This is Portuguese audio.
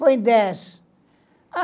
Põe dez.